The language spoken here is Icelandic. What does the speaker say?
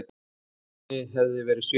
Hulunni hafði verið svipt frá.